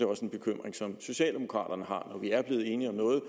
også en bekymring som socialdemokraterne har når vi er blevet enige om noget